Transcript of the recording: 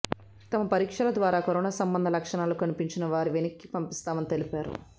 తమ పరీక్షల ద్వారా కరోనా సంబంధ లక్షణాలు కనిపించినా వారిని వెనక్కి పంపిస్తామని తెలిపారు